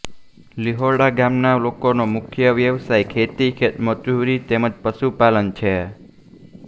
લીહોડા ગામના લોકોનો મુખ્ય વ્યવસાય ખેતી ખેતમજૂરી તેમ જ પશુપાલન છે